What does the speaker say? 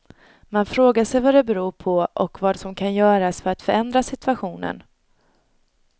Man frågar sig vad det beror på och vad som kan göras för att förändra situationen.